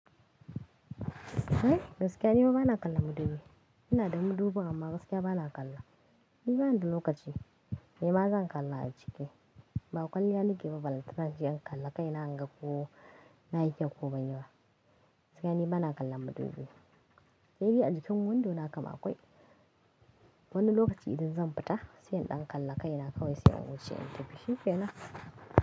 Eh gaskiya ni ma bana kalla madubi. Ina da madubi amma gaskiya bana kalla. Ni bani da lokaci, ni ma zan kalla a ciki. Ba kwalliya nike ba, balltana in je in kalla kai na inga ko na kyau ko ban yi ba. Gaskiya ni bana kalla madubi. Sai bi a jikin windo na kam a kwai. Wani lokaci idan zan fita sai in ɗan kalla kai na kawai sai in wuce, in tafi. Shi kenan.